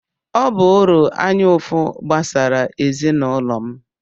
Ọ bụụrụ anya ụfụ gbasara ezinụlọ m.